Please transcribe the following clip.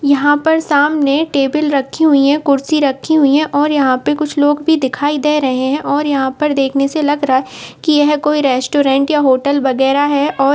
यहाँ पर सामने टेबल रखी हुई है कुर्सी रखी हुई है और यहाँ पर कुछ लोग भी दिखाई दे रहे हैं और यहाँ पर देखने से लग रहा कि यह कोई रेस्टोरेंट या होटल वगैरा है और --